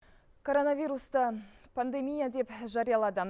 коронавирусты пандемия деп жариялады